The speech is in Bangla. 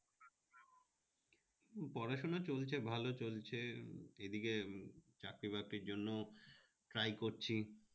পড়াশুনা চলছে ভালো চলছে এদিকে চাকরি-বাকরির জন্য try করছি